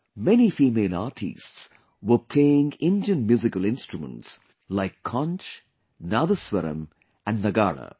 Many female artistes were playing Indian musical instruments like Conch, Nadaswaram and Nagada